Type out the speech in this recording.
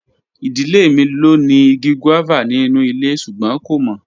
Idile mi lo ni igi guava ninu ile sugbon ko mo.